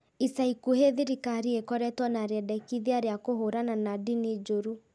Ica ikuhĩ thirikari ĩkoretwo na rĩendekithia rĩa kũhũrana na ndini njũru